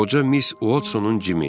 Qoca miss Watsonun Jimi.